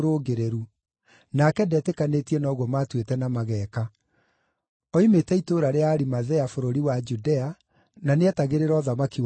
nake ndetĩkanĩtie na ũguo maatuĩte na mageeka. Oimĩte itũũra rĩa Arimathea, bũrũri wa Judea, na nĩetagĩrĩra ũthamaki wa Ngai.